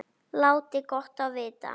Láti gott á vita.